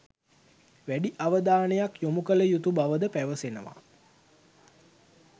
වැඩි අවධානයක් යොමු කළ යුතු බවද පැවසෙනවා.